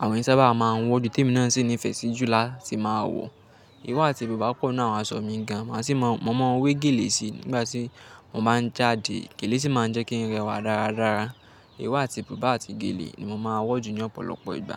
àwọn ìsábà máa ń wọ̀ jù, tí èmi náà sì nifẹ síi jù láti máa wọ̀. Ìró àti bùbá pọ̀ náà aṣọ mi gan, màá sì mọ̀ mọ́n wé gèlè síi nígbà tí mo bá ń jáde. Gèlè sì máa ń jẹ́ kí ń rẹwà dáradára. Ìró àti bùbá àti gèlè ni mo máa wọ̀ jù ní ọ̀pọ̀lọpọ̀ ìgbà.